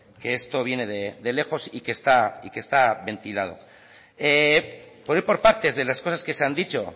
que esto viene de lejos y que está ventilado por ir por partes de las cosas que se han dicho